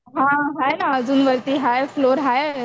हां हाय ना अजून वरती हाय फ्लोअर हाय